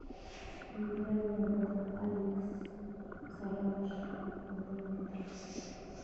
минеральная вода алекс сарагаш полтора литра